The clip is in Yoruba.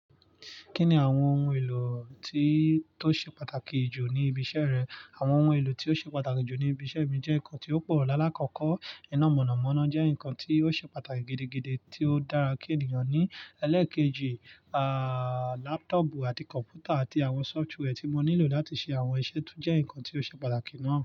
Kí ni àwọn ohun èlò tí tó ṣe pàtàkì jù ní ibi iṣẹ́ rẹ? Àwọn ohun èlò tí ó ṣe pàtàkì jù ní ibi iṣẹ́ mi jẹ́ ǹkan tí ó pọ̀ lálákọ̀kọ́. Iná mọ̀nàmọ́ná jẹ́ ǹkan tí ó ṣe pàtàkì gidi gidi tí ó dára kí ènìyàn ní. Ẹlẹ́ẹ̀keji, ààh, laptọọpu àti kọ̀npútà àti àwọn sọfitùwẹ ti mo nílò láti ṣe àwọn iṣẹ tó jẹ́ ǹkan tí ó ṣe pàtàkì náà.